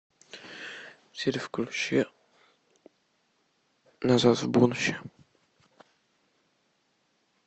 сири включи назад в будущее